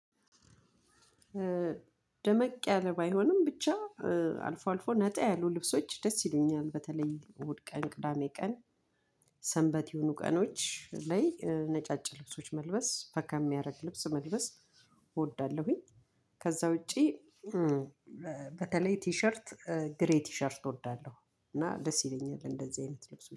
ደመቅ ያለ ባይሆንም ብቻ አልፎ አልፎ ነጣ ያሉ ልብሶች ደስ ይሉኛል በተለይ እሁድ ቀን ቅዳሜ ቀን ሰንበት የሆኑ ቀኖች ላይ ነጫጭ ልብሶች መልበስ ፈካ የሚያደርግ ልብስ መልበስ እወዳለሁኝ። ከዛ ውጪ። በተለይ ቲሸርት ግሬይ ቲሸርት እወዳለሁ እና ደስ ይለኛል እንደዚህ አይነት ልብሶች